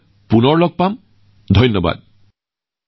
ইমানেকৈ কৈ মই মন কী বাতৰ এই খণ্ডটোত আপোনালোকৰ পৰা বিদায় লৈছো